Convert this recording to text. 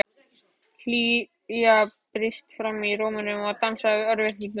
Hlýja brýst fram í rómnum og dansar við örvæntinguna.